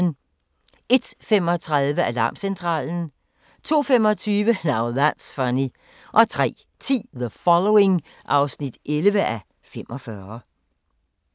01:35: Alarmcentralen 02:25: Now That's Funny 03:10: The Following (11:45)